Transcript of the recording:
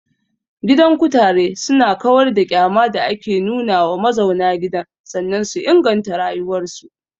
Gidan kutare su na kawar da ƙyama da ake nuna wa mazauna gidan sannan su inganta rayuwar su